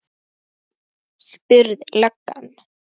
spurði löggan.